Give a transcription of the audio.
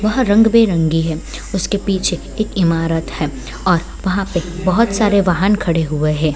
वह रंग बिरंगी है उसके पीछे एक इमारत है और वहां पे बहुत सारे वाहन खड़े हुए हैं।